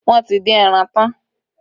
Wọ́n ti dín ẹran tán